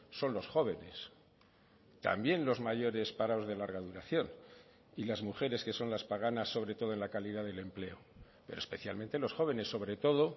son los jóvenes también los mayores parados de larga duración y las mujeres que son las paganas sobre todo en la calidad del empleo pero especialmente los jóvenes sobre todo